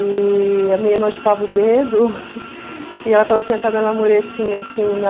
E a minha irmã chupava o dedo, e ela estava sentada na muretinha, assim, na...